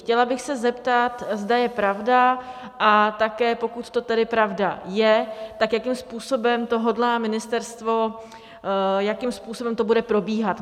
Chtěla bych se zeptat, zda je pravda, a také, pokud to tedy pravda je, tak jakým způsobem to hodlá ministerstvo, jakým způsobem to bude probíhat.